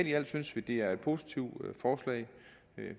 i alt synes vi det er et positivt forslag